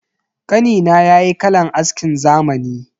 Kanina yayi kalan askin zamani.